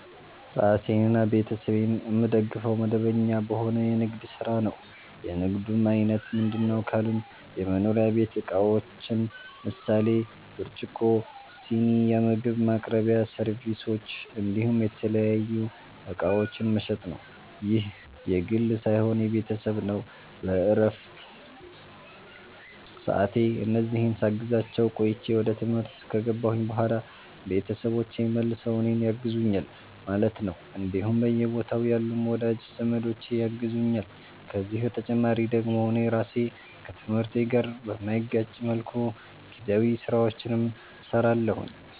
ራሴንና ቤተሰቤን የምደግፈዉ፦ መደበኛ በሆነ የንግድ ስራ ነዉ። የንግዱም አይነት ምንድነዉ ካሉኝ የመኖሪያ ቤት እቃዎችን ምሳሌ፦ ብርጭቆ, ስኒ, የምግብ ማቅረቢያ ሰርቪሶች እንዲሁም የተለያዩ እቃዎችን መሸጥ ነዉ። ይህ የግሌ ሳይሆን የቤተሰብ ነዉ በረፍት ሰዓቴ እነዚህን ሳግዛቸዉ ቆይቼ ወደ ትምህርት ከገባሁኝ በኋላ ቤተሰቦቼ መልሰዉ እኔን ያግዙኛል ማለት ነዉ እንዲሁም በየቦታዉ ያሉም ወዳጅ ዘመዶቼ ያግዙኛል ከዚህ በተጨማሪ ደግሞ እኔ ራሴ ከትምህርቴ ጋር በማይጋጭ መልኩ ጊዜያዊ ስራዎችንም ሰራለሁኝ